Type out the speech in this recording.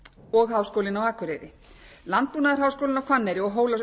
og háskólinn á akureyri landbúnaðarháskólinn á hvanneyri og